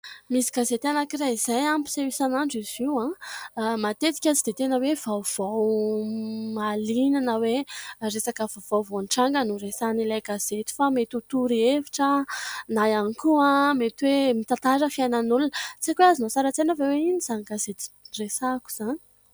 Misy gazety anankiray izay, mpiseho isanandro izy io. Matetika tsy dia tena hoe vaovao mahaliana na hoe resaka vaovao vao nitranga no resahan' ilay gazety, fa mety ho torohevitra na ihany koa mety hoe mitantara fiainan'olona. Tsy haiko hoe azonao sary an-tsaina ve hoe inona izany gazety resahako izany ?